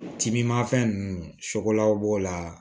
Timinanfɛn ninnu sogolaw b'o la